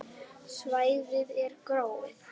Svæðið er gróið.